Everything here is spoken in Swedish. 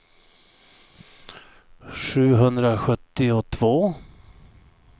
sjuhundrasjuttiotvå